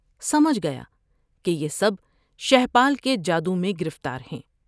سمجھ گیا کہ یہ سب شہپال کے جادو میں گرفتار ہیں ۔